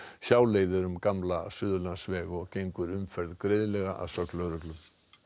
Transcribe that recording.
hjáleið er um gamla Suðurlandsveg og gengur umferð greiðlega að sögn lögreglu